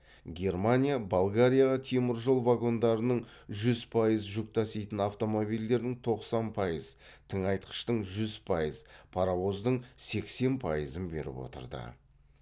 германия болгарияға теміржол вагондарының жүз пайыз жүк таситын автомобильдің тоқсан пайыз тыңайтқыштың жүз пайыз паровоздың сексен пайызын беріп отырды